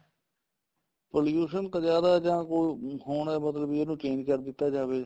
pollution ਤਾਂ ਜਿਆਦਾ ਜਾਂ ਕਹੋ ਹੋਣਾ ਮਤਲਬ ਕੇ ਇਹਨੂੰ change ਕਰ ਦਿੱਤਾ ਜਾਵੇ